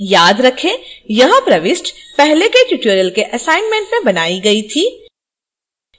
याद रखेंयह प्रविष्टि पहले के tutorial के assignment में बनाई गई थी